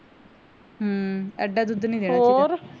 ਹਮ ਐਡਾ ਦੁੱਧ ਨੀ ਦੇਣਾ